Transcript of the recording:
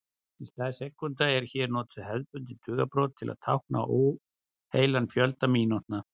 Í stað sekúndna eru hér notuð hefðbundin tugabrot til að tákna óheilan fjölda mínútna.